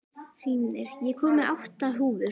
Hrímnir, ég kom með átta húfur!